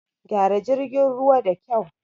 Gyara jirgin ruwa da kyau!